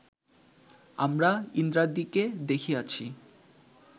আমরা ইন্দ্রাদিকে দেখিয়াছি